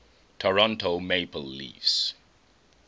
toronto maple leafs